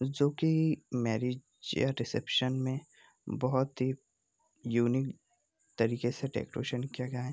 जो कि मैरेज या रिसेप्शन में बहुत ही यूनिक तरीके से डेकोरेशन किया गया है।